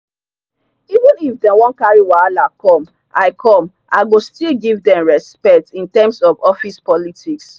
even if dem wan carry wahala come i come i go still give them respect in terms of office politics